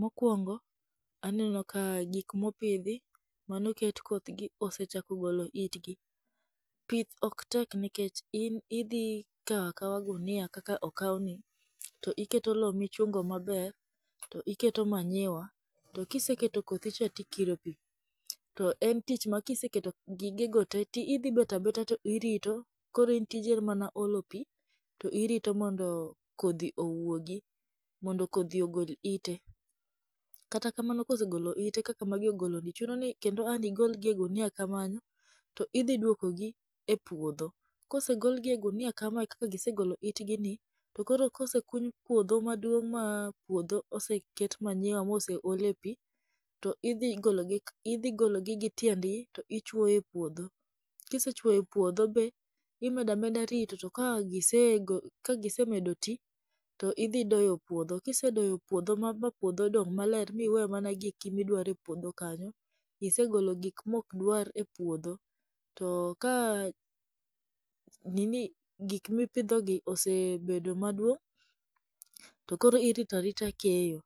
Mokuongo aneno ka gik ma opidhi , mane oket kothgi osechako golo itgi. Pith ok tek nikech in idhi kawo akawa gunia kaka okawni to ichungo lowo maber, to iketo manyiwa to kiseketo kodhi to ikiro pi. To en tich ma kiseketo gigo te to idhi ibet abéta to irito koro in tiji en mana olo pi to irito mondo kodhi owuogi mondo kodhi ogol ite, kata kamano kosegolo ite kaka magi ogologi, chuno ni kendo ang' nigol gi e ogunia kamano kendo idhi duokogi e puodho. kose golgi e gunia kama kaka gisegolo itgi ni to koro kosekuny puodho maduong' ma oseket manyiwa ma oseole pi, to idhi gologi idhi gologi gi tiendgi to ichuoyo ipuodho. Ka isechuoyo ipuodho be to imedo ameda rito, ka gisemedo to idhi doyo puodho ka isedoyo puodho ma puodho dong' maler ma iwe mana giki ma idwaro e puodho kanyo, isegolo gik ma ok dwar e puodho to ka gik mipidhogi osebedo maduong' to koro irito arita keyo.